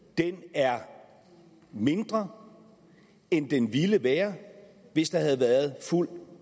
er mindre end den ville have været hvis der havde været fuld